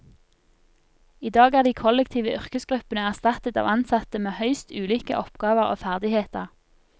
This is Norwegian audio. I dag er de kollektive yrkesgruppene erstattet av ansatte med høyst ulike oppgaver og ferdigheter.